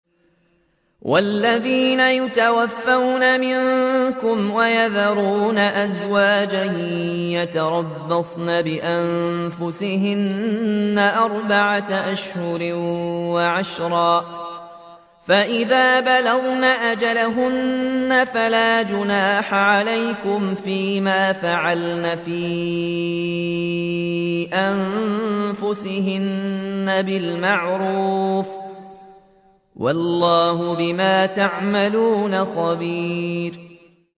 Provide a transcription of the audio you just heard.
وَالَّذِينَ يُتَوَفَّوْنَ مِنكُمْ وَيَذَرُونَ أَزْوَاجًا يَتَرَبَّصْنَ بِأَنفُسِهِنَّ أَرْبَعَةَ أَشْهُرٍ وَعَشْرًا ۖ فَإِذَا بَلَغْنَ أَجَلَهُنَّ فَلَا جُنَاحَ عَلَيْكُمْ فِيمَا فَعَلْنَ فِي أَنفُسِهِنَّ بِالْمَعْرُوفِ ۗ وَاللَّهُ بِمَا تَعْمَلُونَ خَبِيرٌ